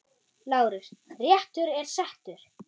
LÁRUS: Réttur er settur!